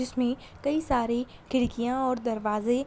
इसमें कई सरे खिड़कियाँ और दरवाजे --